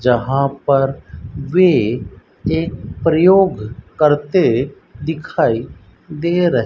जहां पर वे एक प्रयोग करते दिखाई दे रहे --